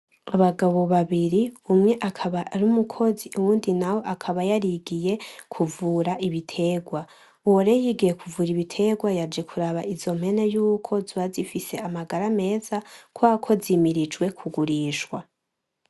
abagabo babiri umwe akaba ari umukozi uwundi nawe akaba yarigiye kuvura ibitegwa uwo rero yigiye kuvura ibitegwa yaje kuraba izo mpene yuko zoba zifise amagara meza kuberako zimirijwe kugurishwa